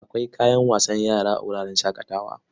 Akwai kayan wasan yara a wuraren shaƙatawa.